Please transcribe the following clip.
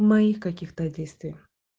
моих каких-то действий